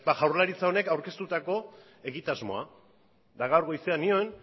jaurlaritza honek aurkeztutako egitasmoa eta gaur goizean nion